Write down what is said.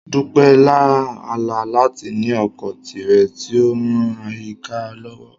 Dupe lá àlá láti ní oko tirẹ̀ tí ó ń ran àyíká lọ́wọ́.